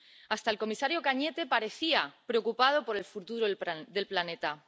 Hasta el comisario Cañete parecía preocupado por el futuro del planeta.